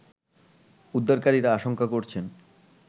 উদ্ধারকারীরা আশংকা করছেন